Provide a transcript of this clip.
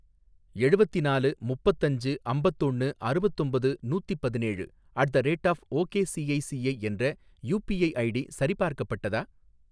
எழுவதினாலு முப்பத்தஞ்சு அம்பத்தொண்ணு அறுவத்தொம்பது நூத்திப்பதினேழு at the rate of ok ICICI என்ற யூபிஐ ஐடி சரிபார்க்கப்பட்டதா?